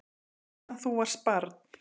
Síðan þú varst barn.